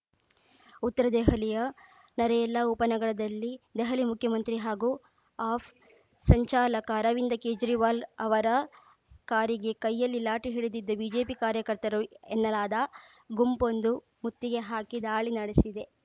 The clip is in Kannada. ಉತ್ತರ ದೆಹಲಿಯ ನರೇಲಾ ಉಪನಗರದಲ್ಲಿ ದೆಹಲಿ ಮುಖ್ಯಮಂತ್ರಿ ಹಾಗೂ ಆಫ್ ಸಂಚಾಲಕ ಅರವಿಂದ್‌ ಕೇಜ್ರಿವಾಲ್‌ ಅವರ ಕಾರಿಗೆ ಕೈಯಲ್ಲಿ ಲಾಠಿ ಹಿಡಿದಿದ್ದ ಬಿಜೆಪಿ ಕಾರ್ಯಕರ್ತರು ಎನ್ನಲಾದ ಗುಂಪೊಂದು ಮುತ್ತಿಗೆ ಹಾಕಿ ದಾಳಿ ನಡೆಸಿದೆ